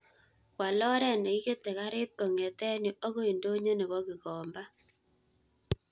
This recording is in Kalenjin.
Wal oret ne kikete karit kongeten yu agoi ndonyo nebo gikomba